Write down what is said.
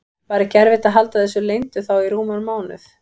Var ekki erfitt að halda þessu leyndu þá í rúman mánuð?